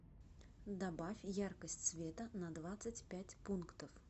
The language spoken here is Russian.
добавь яркость света на двадцать пять пунктов